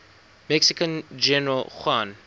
mexican general juan